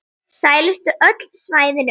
Seldust öll svæðin upp.